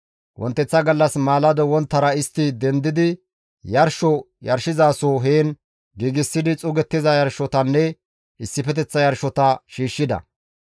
Wonteththa gallas maalado wonttara istti dendidi, yarsho yarshizaso heen giigsidi xuugettiza yarshotanne issifeteththa yarshota shiishshida.